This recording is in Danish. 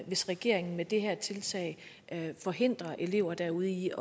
hvis regeringen med det her tiltag forhindrer elever derude i